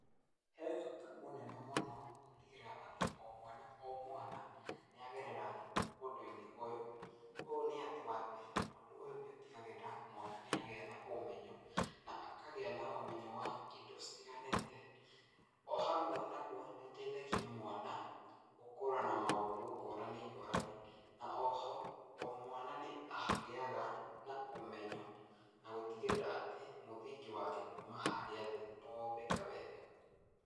He bata mũnene mũno gũtigĩrĩra atĩ o mwana o mwana nĩagerera ũndũinĩ ũyũ, ũyũ nĩ atĩ wambere ũndũ ũyũ nĩũtigagĩrĩra atĩ mwana nĩagĩa na ũmenyo na akagĩa na ũmenyo wa indo citiganĩte. O hamwe naguo nĩũteithagia mwana gũkũra na maũndũ ngũrani ngũrani, na oho o mwana nĩagĩyaga na ũmenyo na gũtigĩrĩra atĩ mũthingi wake kuma harĩa thĩ nĩwombĩka wega.